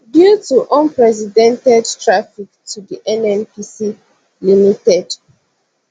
due to unprecedented traffic to di nnpc ltd